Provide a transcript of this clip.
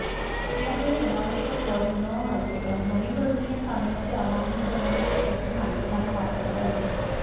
यावेळी अनावश्यक हॉर्न न वाजवता ध्वनी प्रदूषण टाळण्याचे आवाहन करणारी पत्रके नागरिकांना वाटण्यात आली